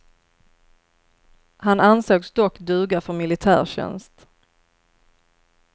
Han ansågs dock duga för militärtjänst.